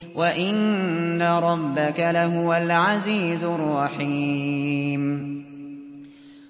وَإِنَّ رَبَّكَ لَهُوَ الْعَزِيزُ الرَّحِيمُ